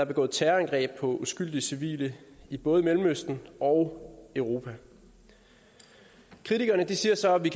begået terrorangreb på uskyldige civile i både mellemøsten og europa kritikerne siger så at vi